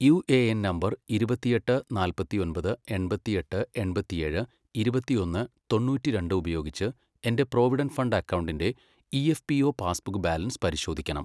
U A N number ഇരുപത്തെട്ട് നാപ്പത്തൊമ്പത് എൺപത്തെട്ട് എൺപത്തേഴ് ഇരുപത്തൊന്ന് തൊണ്ണൂറ്റി രണ്ട് ഉപയോഗിച്ച് എൻ്റെ പ്രൊവിഡന്റ് ഫണ്ട് അക്കൗണ്ടിൻ്റെ E P F O passbook balance പരിശോധിക്കണം.